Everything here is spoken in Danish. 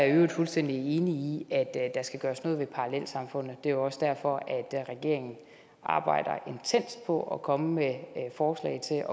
i øvrigt fuldstændig enig i at der skal gøres noget ved parallelsamfundene det er også derfor at regeringen arbejder intenst på at komme med forslag til at